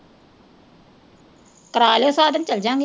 ਕਰਵਾ ਲਓ ਸਾਧਨ ਚਲੇ ਜਾਵਾਂਗੇ।